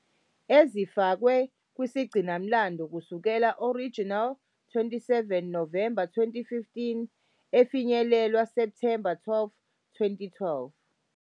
Ezifakwe kusigcinamlando kusukela original 27 Novemba 2015, efinyelelwe September 12, 2012.